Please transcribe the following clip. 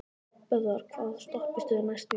Böðvar, hvaða stoppistöð er næst mér?